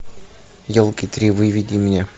елки три выведи мне